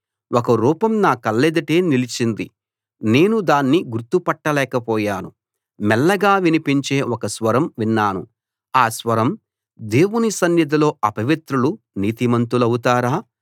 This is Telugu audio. ఒక రూపం నా కళ్ళెదుట నిలిచింది నేను దాన్ని గుర్తు పట్టలేకపోయాను మెల్లగా వినిపించే ఒక స్వరం విన్నాను ఆ స్వరం దేవుని సన్నిధిలో అపవిత్రులు నీతిమంతులవుతారా